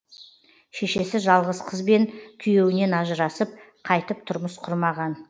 шешесі жалғыз қызбен күйеуінен ажырасып қайтып тұрмыс құрмаған